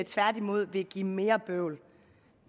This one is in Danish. tværtimod vil give mere bøvl